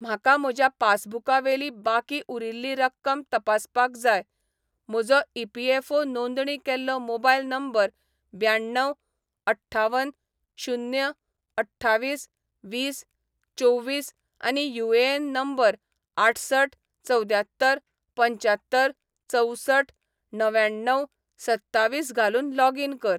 म्हाका म्हज्या पासबुकावेली बाकी उरिल्ली रक्कम तपासपाक जाय, म्हजो ई.पी.एफ.ओ. नोंदणी केल्लो मोबायल नंबर ब्याण्णव अठ्ठावन शून्य अठ्ठावीस वीस चोवीस आनी यू.ए.एन. नंबर आठसठ चवद्यात्तर पंच्यात्तर चवसठ णव्याण्णव सत्तावीस घालून लॉगिन कर